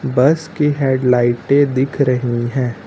बस की हेडलाइटे दिख रही है।